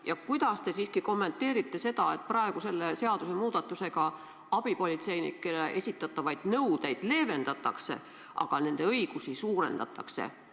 Ja kuidas te siiski kommenteerite seda, et praegu selle seadusemuudatusega abipolitseinikele esitatavaid nõudeid leevendatakse, aga nende õigusi suurendatakse?